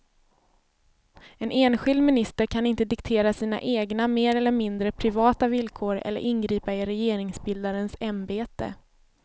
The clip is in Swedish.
En enskild minister kan inte diktera sina egna mer eller mindre privata villkor eller ingripa i regeringsbildarens ämbete.